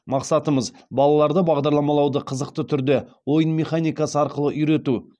мақсатымыз балаларды бағдарламалауды қызықты түрде ойын механикасы арқылы үйрету